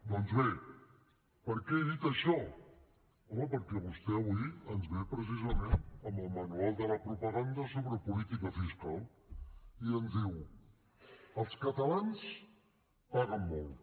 doncs bé per què he dit això home perquè vostè avui ens ve precisament amb el manual de la propaganda sobre política fiscal i ens diu els catalans paguen molt